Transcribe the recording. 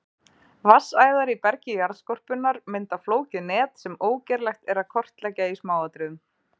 Vatnsæðar í bergi jarðskorpunnar mynda flókið net sem ógerlegt er að kortleggja í smáatriðum.